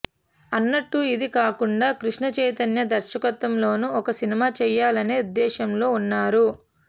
అన్నట్టు ఇది కాకుండా కృష్ణ చైతన్య దర్శకత్వంలోనూ ఒక సినిమా చేయాలనే ఉద్దేశ్యంలో ఉన్నారు